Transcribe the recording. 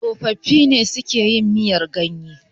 tsofaffi ne suke yin miyar ganye